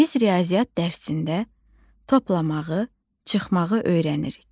Biz riyaziyyat dərsində toplamağı, çıxmağı öyrənirik.